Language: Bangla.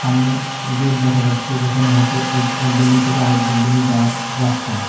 সামনে গেট দেখা যাচ্ছে যেখানে হয়তো এই এক বিল্ডিং থেকে আরেক বিল্ডিংএ যাওয়ার রাস্তা।